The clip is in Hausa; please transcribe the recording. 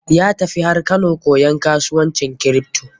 Ya tafi har Kano koyan kasuwancin kripto.